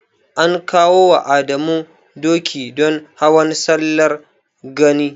An kawo wa Adamu doki don Hawan Sallar Gani.